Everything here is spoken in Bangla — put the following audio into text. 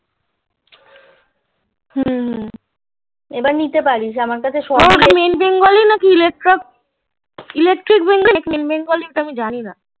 হুম আবার নিতে প্যারিস তো আমি জানি না